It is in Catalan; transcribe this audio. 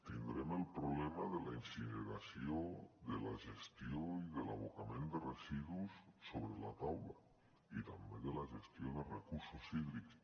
tindrem el problema de la incineració de la gestió i de l’abocament de residus sobre la taula i també de la gestió de recursos hídrics